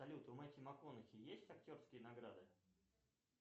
салют у мэттью макконахи есть актерские награды